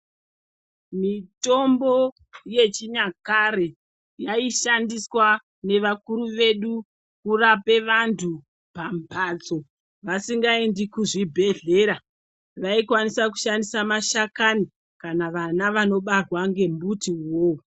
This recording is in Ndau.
Mitombo yechinyakare yaishandiswa navakuru vedu kurapa vantu pambatso vasingaendi kuzvibhedhlera. Vaikwanisa kushandisa mashakani kana vana vanobarwa ngembuti iwovo.